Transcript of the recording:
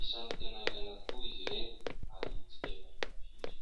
Isan'ny tena ilaina tokoa izy ireny ary tsy dia fahita firy.